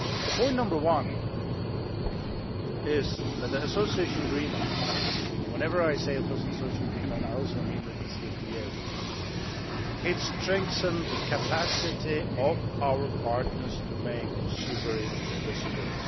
Point number one is that the association agreement and whenever I say association agreement, I also mean the DCFTA has strengthened the capacity of our partners to make sovereign decisions.